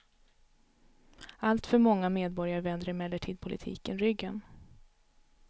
Alltför många medborgare vänder emellertid politiken ryggen.